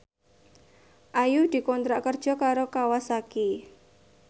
Ayu dikontrak kerja karo Kawasaki